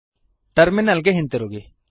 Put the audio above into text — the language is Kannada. ಟರ್ಮಿನಲ್ ಗೆ ಹಿಂತಿರುಗಿ